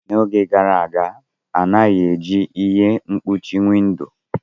N'oge gara aga, a naghị eji ihe mkpuchi windo.